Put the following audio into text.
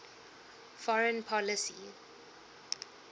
foreign policy